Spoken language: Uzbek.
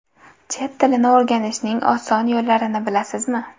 Chet tilini o‘rganishning oson yo‘llarini bilasizmi?.